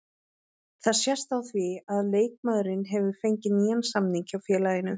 Það sést á því að leikmaðurinn hefur fengið nýjan samning hjá félaginu.